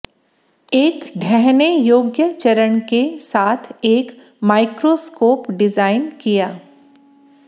एक ढहने योग्य चरण के साथ एक माइक्रोस्कोप डिजाइन किया